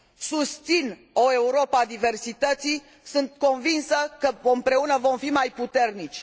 Susțin o Europă a diversității, sunt convinsă că împreună vom fi mai puternici.